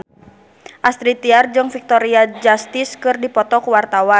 Astrid Tiar jeung Victoria Justice keur dipoto ku wartawan